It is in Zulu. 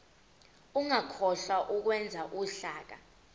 ungakhohlwa ukwenza uhlaka